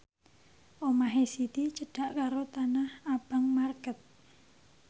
omahe Siti cedhak karo Tanah Abang market